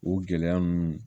O gɛlɛya ninnu